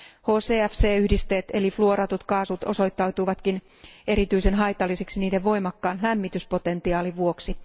HCFC yhdisteet eli fluoratut kaasut osoittautuivatkin erityisen haitallisiksi niiden voimakkaan lämmityspotentiaalin vuoksi.